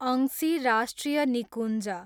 अंशी राष्ट्रिय निकुञ्ज